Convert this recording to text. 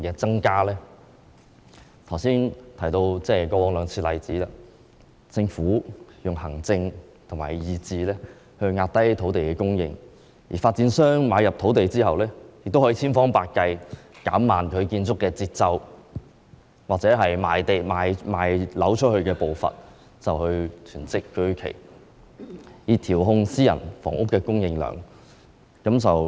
我剛才提到過去兩次出現的情況，政府均以行政和意志壓低土地供應，而發展商買入土地後，也可千方百計減慢其建築節奏或出售樓宇的步伐，囤積居奇，以調控私營房屋的供應量。